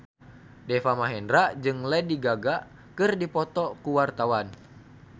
Deva Mahendra jeung Lady Gaga keur dipoto ku wartawan